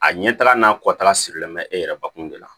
A ɲɛtagala n'a kɔtara sirilen bɛ e yɛrɛ bakun de la